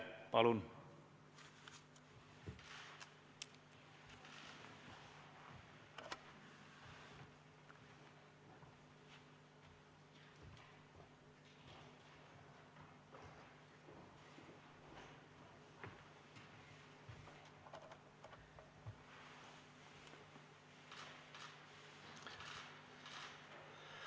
Palun!